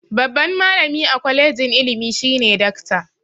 Babban malami a kwalijin ilimi shine dakta.